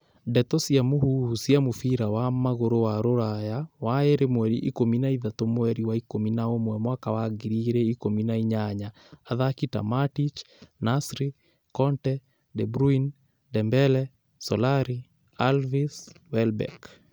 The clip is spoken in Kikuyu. Ndeto cia mũhuhu cia mũbira wa magũrũ wa Rũraya waĩrĩ mweri ikũmi na ithatũ mweri wa ikũmi na umwe mwaka wa ngiri igĩrĩ ikumi na inyanya, athaki ta Matic, Nasri, Conte, De Bruyne, Dembele, Solari, Alves, Welbeck